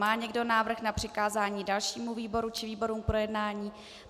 Má někdo návrh na přikázání dalšímu výboru či výborům k projednání?